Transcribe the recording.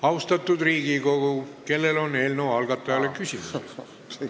Austatud Riigikogu, kellel on eelnõu algatajale küsimusi?